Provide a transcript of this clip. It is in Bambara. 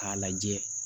K'a lajɛ